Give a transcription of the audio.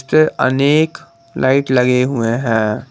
अनेक लाइट लगे हुए है।